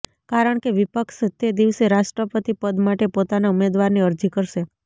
કારણકે વિપક્ષ તે દિવસે રાષ્ટ્રપતિ પદ માટે પોતાનાં ઉમેદવારની અરજી કરશે